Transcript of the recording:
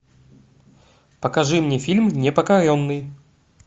покажи мне фильм непокоренный